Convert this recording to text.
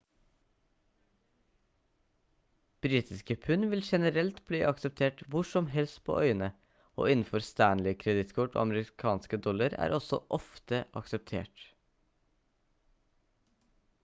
britiske pund vil generelt bli akseptert hvor som helst på øyene og innenfor stanley-kredittkort og amerikanske dollar er også ofte akseptert